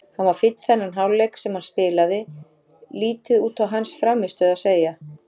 Hann var fínn þennan hálfleik sem hann spilaði, lítið út á hans frammistöðu að segja.